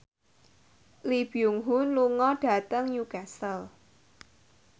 Lee Byung Hun lunga dhateng Newcastle